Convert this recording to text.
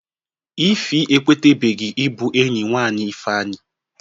Ify ekwetebeghi ibu enyi nwanyị Ifeanyị